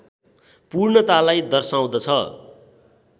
पूर्णतालाई दर्शाउँदछ